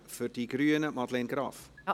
Für die Grünen: Madeleine Graf.